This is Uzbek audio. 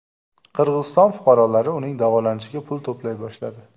Qirg‘iziston fuqarolari uning davolanishiga pul to‘play boshladi.